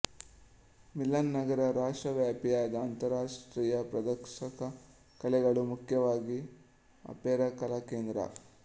ಮಿಲನ್ ನಗರ ರಾಷ್ಟ್ರವ್ಯಾಪಿಯಾದ ಅಂತರರಾಷ್ಟ್ರೀಯ ಪ್ರದರ್ಶಕ ಕಲೆಗಳು ಮುಖ್ಯವಾಗಿ ಅಪೇರಾ ಕಲಾ ಕೇಂದ್ರ